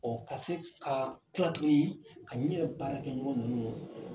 Ɔ ka se ka kila tuguni ka n yɛrɛ baara kɛ ɲɔgɔn ninnu